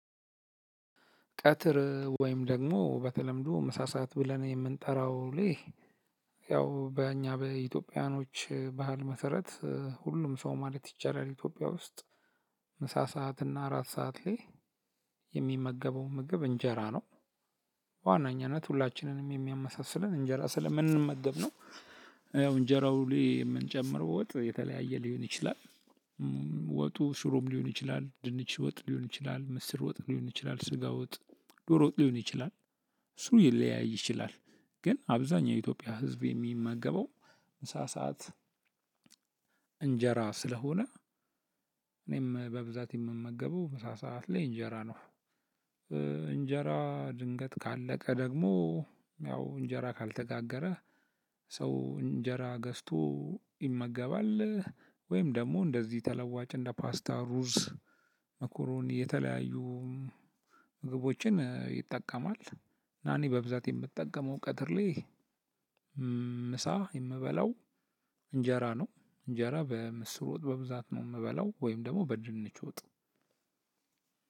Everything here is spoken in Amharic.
ቀትር ወይም ደግሞ በተለምዶ ምሳ ሰዓት ብለን የምንጠራው ልህ ያው በእኛ በኢትዮጵያውያኖች ባህል መሰረት ሁሉም ሰው ማለት ይቻላል ኢትዮጵያ ውስጥ። ምሳ ሰዓት እና እራት ሰዓት ላይ የሚመገበው ምግብ እንጀራ ነው። ዋናኛነት ሁላችንንም የሚያመሳስለን እንጀራ ስለምንመገብ ነው። ያው እንጀራው ሊ የምንጨምረው ወጥ የተለያየ ሊሆን ይችላል። ወጡ ሽሮም ሊሆን ይችላል ድንች ወጥ ሊሆን ይችላል ምስር ወጥ ሊሆን ይችላል ስጋ ወጥ ዶሮ ወጥ ሊሆን ይችላል። እሱ ሊለያይ ይችላል። ግን አብዛኛው የኢትዮጵያ ህዝብ የሚመገበው ምሳ ሰዓት እንጀራ ስለሆነ። እኔም በብዛት የምመገበው ምሳ ሰዓት ላይ እንጀራ ነው። እንጀራ ድንገት ካለቀ ደግሞ ያው እንጀራ ካልተጋገረ ሰው እንጀራ ገዝቶ ይመገባል። ወይም ደግሞ እንደዚህ ተለዋጭ እንደ ፓስታ ሩዝ መኩሩኒ የተለያዩ ምግቦችን ይጠቀማል። እና እኔ በብዛት የምትጠቀመው ቀትርሌ ምሳ የምበላው እንጀራ ነው። እንጀራ በምስር ወጥ በብዛት ነው የምበላው ወይም ደግሞ በድንች ወጥ።